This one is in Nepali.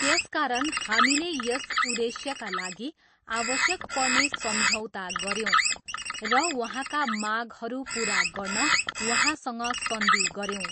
त्यसकारण हामीले यस उद्देश्यका लागि आवश्यक पर्ने सम्झौता गऱ्यौँ र उहाँका मागहरू पुरा गर्न उहाँसँग सन्धि गऱ्यौँ।